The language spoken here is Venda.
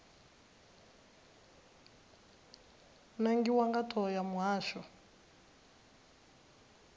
nangiwa nga thoho ya muhasho